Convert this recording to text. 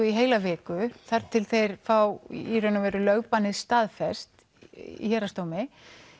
í heila viku þar til þeir fá í raun og veru lögbannið staðfest í héraðsdómi